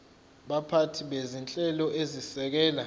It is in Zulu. baphathi bezinhlelo ezisekela